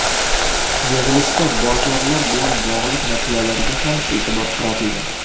Yig‘ilishda bozorlar bilan bog‘liq masalalarga ham e’tibor qaratildi.